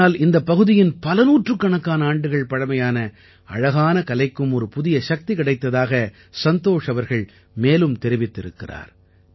இதனால் இந்தப் பகுதியின் பல நூற்றுக்கணக்கான ஆண்டுகள் பழமையான அழகான கலைக்கும் ஒரு புதிய சக்தி கிடைத்ததாக சந்தோஷ் அவர்கள் மேலும் தெரிவித்திருக்கிறார்